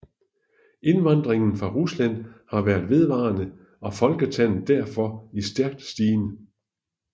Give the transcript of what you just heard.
Indvandringen fra Rusland har været vedvarende og folketallet derfor i stærk stigen